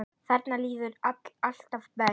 Þarna líður mér alltaf best.